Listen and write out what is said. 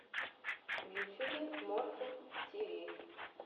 в ютюбе морфл ти ви